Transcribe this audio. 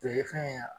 O ye fɛn ye